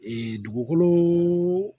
dugukolo